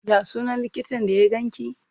Ya sunan likitan da ya ganki?